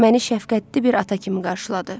Məni şəfqətli bir ata kimi qarşıladı.